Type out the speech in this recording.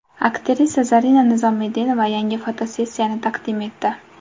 Aktrisa Zarina Nizomiddinova yangi fotosessiyasini taqdim etdi.